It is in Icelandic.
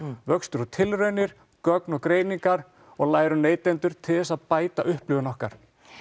vöxtur um tilraunir gögn og greiningar og læra á neytendur til þess að bæta upplifun okkar